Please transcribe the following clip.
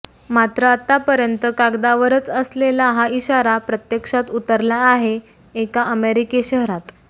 मात्र आतापर्यंत कागदावरच असलेला हा इशारा प्रत्यक्षात उतरला आहे एका अमेरिकी शहरात